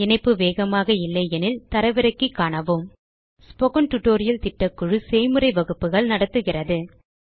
இணைப்பு வேகமாக இல்லையெனில் தரவிறக்கி காணவும் ஸ்போக்கன் டியூட்டோரியல் திட்டக்குழு செய்முறை வகுப்புகள் நடத்துகிறது